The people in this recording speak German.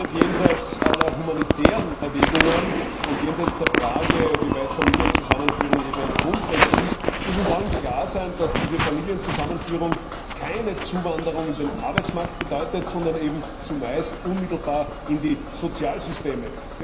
Jenseits aller humanitären Erwägungen und jenseits der Frage, inwieweit Familienzusammenführung ein Grundrecht ist, muss uns allen klar sein, dass diese Familienzusammenführung keine Zuwanderung in den Arbeitsmarkt bedeutet, sondern eben zumeist unmittelbar in die Sozialsysteme.